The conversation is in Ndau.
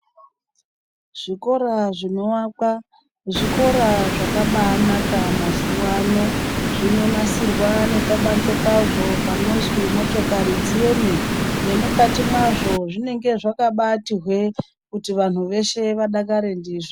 Zvikora zvinovakwa zvikora zvakabanaka mazuwano. Zvinonasirwa nepabanze pazvo panozwi motokori dzieme nemukati mwazvo zvinenge zvakabati hwe kuti vanhu veshe vadakare ndizvo.